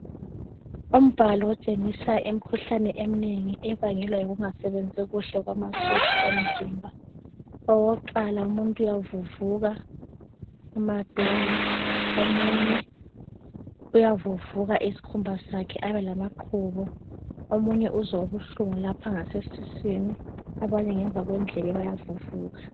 Umbhalo otshengisa imkhuhlane emnengi ebangelwa yikungasebenzi kuhle kwamasotsha omzimba, owakuqala umuntu uyavuvuka amadolo omunye uyavuvuka isikhumba sakhe abe lamaqhubu omunye uzwa ubuhlungu ngapha ngase siswini abanye ngemuva kwendlebe baya vuvuka.